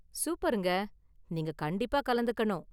சூப்பர்ங்க, நீங்க கண்டிப்பா கலந்துக்கணும்.